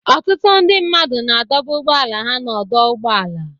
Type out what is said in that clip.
Ọtụtụ ndị mmadụ na-adọba ụgbọala ha n'ọdọ ụgbọala